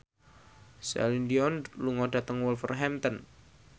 Celine Dion lunga dhateng Wolverhampton